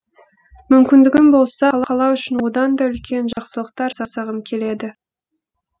мүмкіндігім болса қала үшін одан да үлкен жақсылықтар жасағым келеді